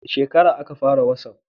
Wani shekara a ka fara watsaf?